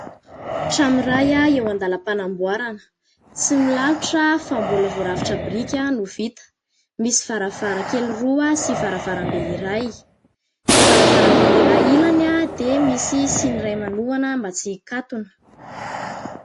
Trano iray eo andalam-panamboarana. Tsy milalotra fa mbola vao rafitra biriky no vita. Misy varavarankely roa sy varavarambe iray. Ny varavarambe iray ilany dia misy siny iray manohana mba tsy hikatona.